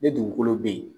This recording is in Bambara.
Ni dugukolo bɛ yen